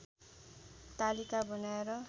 तालिका बनाएर